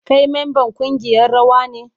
Kai memban kungiyar rawa ne?